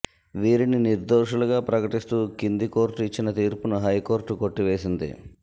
వీరిని నిర్దోషులుగా ప్రకటిస్తూ కింది కోర్టు ఇచ్చిన తీర్పును హైకోర్టు కొట్టివేసింది